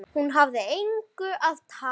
Hún hafði engu að tapa.